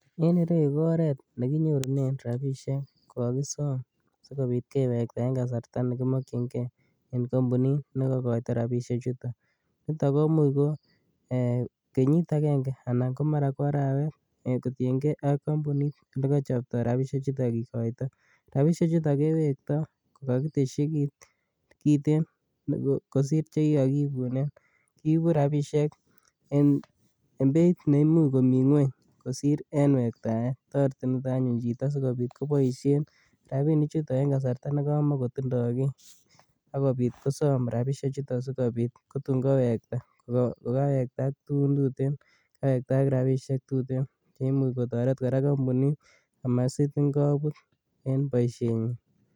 En ireu ko oret ne kinyorunen rabiisiek ko kakisom sikobit kewekta eng kasarta ne kimokchingei eng kampunit ne kokoito rabiisiechuto, nito ko much ko kenyit akenge anan ko mara ko arawet, kotiengei ak kampunit le kochopta rabiisiechuto kikoito, rabiisiechuto kewektoi ko kakitesyi kiit kiten kosir che kikakiibunen, kiibu rabiisiek en beit ne imuch komi ngueny kosir en wektaet. Toreti nito anyun chito sikobit koboisien rabiinichuto en kasarta ne kamakotindoi kiy, ak kobit kosom rabiisiechuto sikobit kotun kowekta kokawekta ak tugun tuten kowekta ak rabiisiek tuten cheimuch kotoret kora kampuni kobut en boisienyin.